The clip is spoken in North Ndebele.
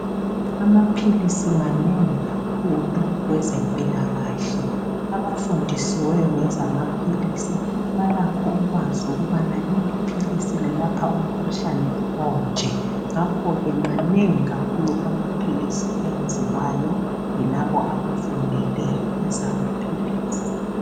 Amaphilisi manengi kakhulu kwezempilakahle .Abafundisiweyo ngezamaphilisi balakho ukwazi ukubana leli philisi lelapha umkhuhlane onje .Ngakhoke manengi kakhulu amaphilisi ayenziwayo yilabo abafundele ezamaphilisi .